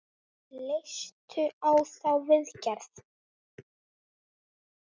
Leistu á þá viðgerð?